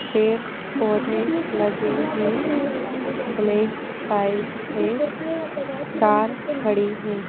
पेड़ पौधे लगे हैं ब्लैक पाइप है कार खड़ी है।